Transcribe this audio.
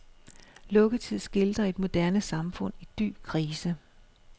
Lukketid skildrer et moderne samfund i dyb krise.